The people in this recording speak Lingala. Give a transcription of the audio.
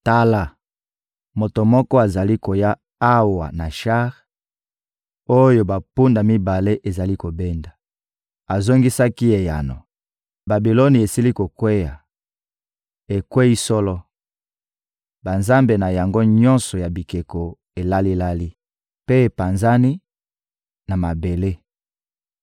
Tala, moto moko azali koya awa na shar, oyo bampunda mibale ezali kobenda. Azongisaki eyano: ‹Babiloni esili kokweya, ekweyi solo! Banzambe na yango nyonso ya bikeko elali-lali mpe epanzani na mabele!›»